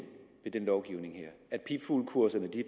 med den lovgivning her at pipfuglekurserne